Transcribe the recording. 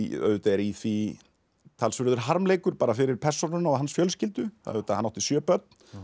auðvitað er í því talsverður harmleikur fyrir persónuna og hans fjölskyldu hann átti sjö börn